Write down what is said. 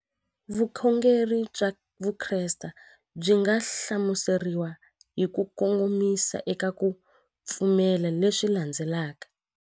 Vukhongeri bya Vukreste byi nga hlamuseriwa hi kukomisa eka ku pfumela leswi landzelaka.